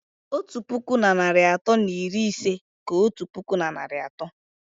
Otu puku na narị atọ na iri ise ka otu puku na narị atọ